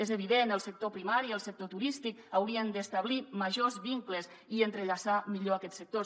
és evident el sector primari i el sector turístic haurien d’establir majors vincles i entrellaçar millor aquests sectors